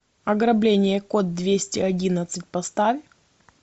ограбление код двести одиннадцать поставь